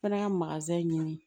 Fɛnɛ ka ɲini